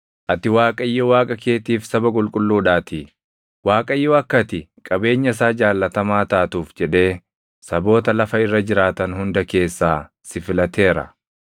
ati Waaqayyo Waaqa keetiif saba qulqulluudhaatii. Waaqayyo akka ati qabeenya isaa jaallatamaa taatuuf jedhee saboota lafa irra jiraatan hunda keessaa si filateera.